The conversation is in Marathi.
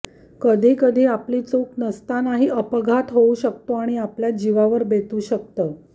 कधी कधी आपली चूक नसतानाही अपघात होऊ शकतो आणि आपल्या जिवावर बेतू शकतं